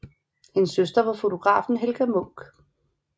Hendes søster var fotografen Helga Munch